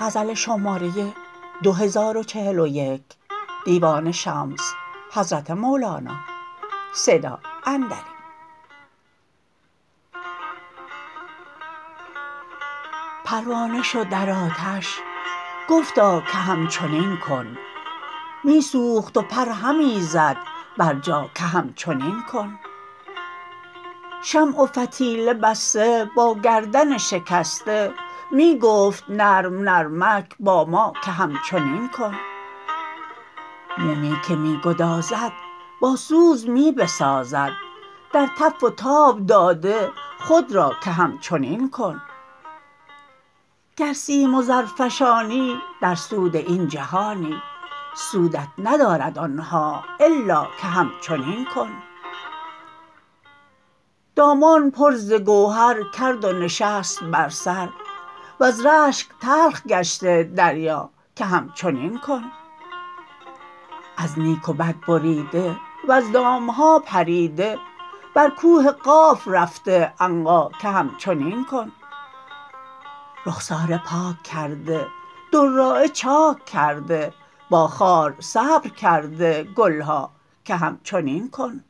پروانه شد در آتش گفتا که همچنین کن می سوخت و پر همی زد بر جا که همچنین کن شمع و فتیله بسته با گردن شکسته می گفت نرم نرمک با ما که همچنین کن مومی که می گدازد با سوز می بسازد در تف و تاب داده خود را که همچنین کن گر سیم و زر فشانی در سود این جهانی سودت ندارد آن ها الا که همچنین کن دامان پر ز گوهر کرد و نشست بر سر وز رشک تلخ گشته دریا که همچنین کن از نیک و بد بریده وز دام ها پریده بر کوه قاف رفته عنقا که همچنین کن رخساره پاک کرده دراعه چاک کرده با خار صبر کرده گل ها که همچنین کن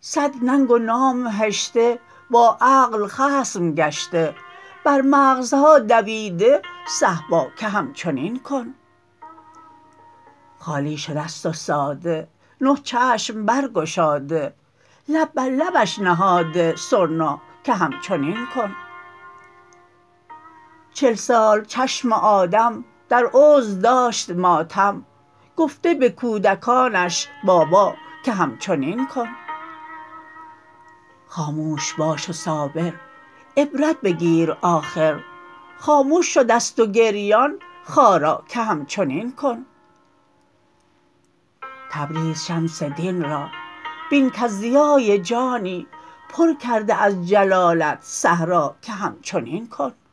صد ننگ و نام هشته با عقل خصم گشته بر مغزها دویده صهبا که همچنین کن خالی شده ست و ساده نه چشم برگشاده لب بر لبش نهاده سرنا که همچنین کن چل سال چشم آدم در عذر داشت ماتم گفته به کودکانش بابا که همچنین کن خاموش باش و صابر عبرت بگیر آخر خامش شده ست و گریان خارا که همچنین کن تبریز شمس دین را بین کز ضیای جانی پر کرده از جلالت صحرا که همچنین کن